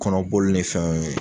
Kɔnɔbolo ni fɛnw ye